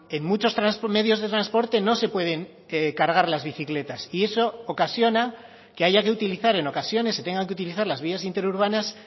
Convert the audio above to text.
en muchos medios de transporte no se pueden cargar las bicicletas y eso ocasiona que haya que utilizar en ocasiones se tengan que utilizar las vías interurbanas